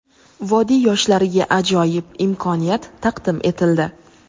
Vodiy yoshlariga ajoyib imkoniyat taqdim etildi!.